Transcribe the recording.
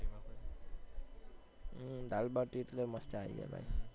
હમ દાળ ભાટી એટલે મસ્ત idea ભાઈ